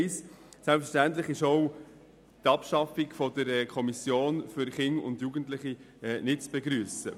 Selbstverständlich ist auch die Abschaffung der Kommission für Kinder und Jugendliche nicht zu begrüssen.